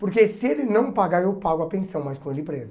Porque se ele não pagar, eu pago a pensão, mas com ele preso.